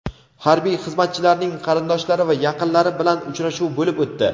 harbiy xizmatchilarning qarindoshlari va yaqinlari bilan uchrashuv bo‘lib o‘tdi.